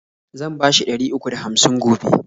Zan bashi ɗari uku da hamsin gobe.